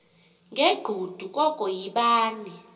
ngegqudu koko yibani